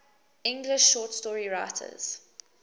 english short story writers